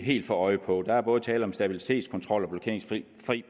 helt få øje på der er både tale om stabilitetskontrol blokeringsfri